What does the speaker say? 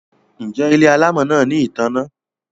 Njé Ile alamò náa ní ìtanná?